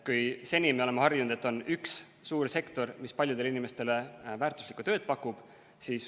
Seni me oleme harjunud, et on üks suur sektor, mis paljudele inimestele väärtuslikku tööd pakub.